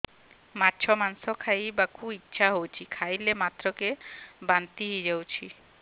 ମାଛ ମାଂସ ଖାଇ ବାକୁ ଇଚ୍ଛା ହଉଛି ଖାଇଲା ମାତ୍ରକେ ବାନ୍ତି ହେଇଯାଉଛି